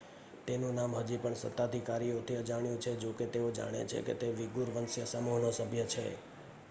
તેનું નામ હજી પણ સત્તાધિકારીઓથી અજાણ્યું છે જોકે તેઓ જાણે છે કે તે વીગૂર વંશીય સમૂહનો સભ્ય છે